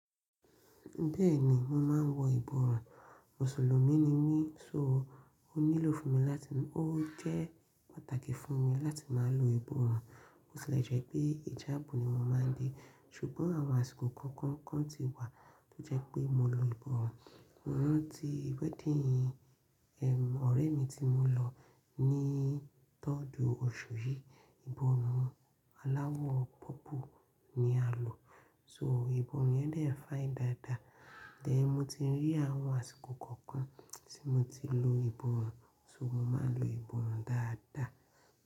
Bẹ́ẹ̀ ni, mo máa ń wọ ìborùn. Mùsùlùmí ni mí, só o nílò fún mi láti, o jẹ́ pàtàkì fún mi láti máa lo ìborùn. Mo sì le jẹ́ pé ìjábù ni mo máa ń dé, ṣùgbọ́n àwọn àsìkò kọ̀ọ̀kan kan ti wà tó jẹ́ pé mo lo ìborùn. Ọ̀n ti ìwẹ́dín ẹ̀, ọ̀rẹ́ mi tí mo lọ ní tọ́dú òṣù yìí, ìborùn aláwọ̀ pọ́pù ni a lò. So ìborùn yẹn dẹ̀ fine dáadáa. Then mo ti rí àwọn àsìkò kọ̀ọ̀kan tí mo ti lo ìborùn, so mo máa ń lo ìborùn dáadáa.